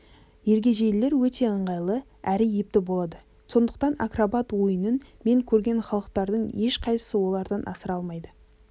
ергежейлілер өте ыңғайлы әрі епті болады сондықтан акробат ойынын мен көрген халықтардың ешқайсысы олардан асыра алмайды